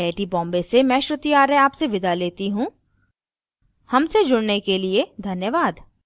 I I T Bombay से मैं श्रुति आर्य आपसे विदा लेती you धन्यवाद